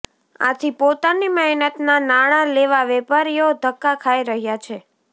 આથી પોતાની મહેનતના નાણા લેવા વેપારીઓ ધક્કા ખાઇ રહ્યા છે